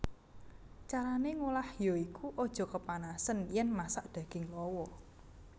Carané ngolah ya iku aja kepanasen yèn masak daging lawa